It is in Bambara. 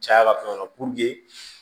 Caya la fɛn dɔ la